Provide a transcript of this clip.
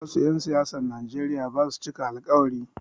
Wasu 'yan siyasan Nijeriya basu cika alkawari